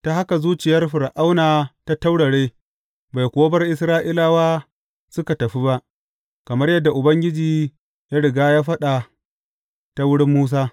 Ta haka zuciyar Fir’auna ta taurare, bai kuwa bar Isra’ilawa suka tafi ba, kamar yadda Ubangiji ya riga ya faɗa ta wurin Musa.